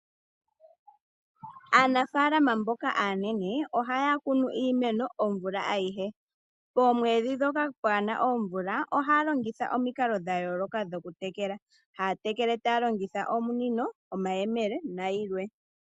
Aanafaalama mboka aanene ohaya kunu iimeno omvula ayihe. Poomwedhi ndhoka kaadhi na omvula, yo ohaya longitha omikalo dha yooloka okutekela. Haya tekele taya longitha omunino, omayemele nayilwe.